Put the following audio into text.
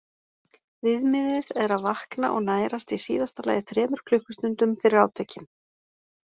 Viðmiðið er að vakna og nærast í síðasta lagi þremur klukkustundum fyrir átökin.